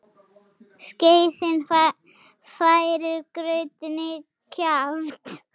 Skeiðin færir graut í kjaft.